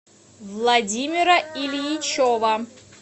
владимира ильичева